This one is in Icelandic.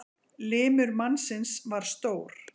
Limur mannsins var stór.